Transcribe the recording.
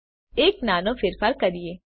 હવે ચાલો એક નાનો ફેરફાર કરીએ